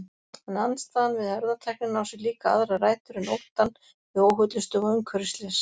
En andstaðan við erfðatæknina á sér líka aðrar rætur en óttann við óhollustu og umhverfisslys.